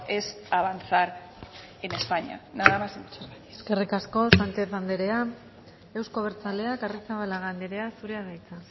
es avanzar en españa nada más y muchas gracias eskerrik asko sánchez andrea euzko abertzaleak arrizabalaga andrea zurea da hitza